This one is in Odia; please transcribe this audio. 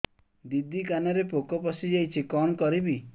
ଦିଦି କାନରେ ପୋକ ପଶିଯାଇଛି କଣ କରିଵି